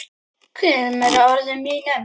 Kemur að orðum mínum.